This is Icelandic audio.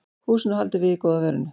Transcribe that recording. Húsinu haldið við í góða veðrinu